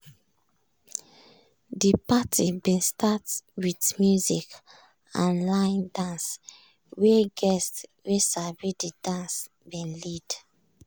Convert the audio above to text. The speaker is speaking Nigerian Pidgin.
de party bin start with music and line dance wey guests wey sabi de dance bin lead.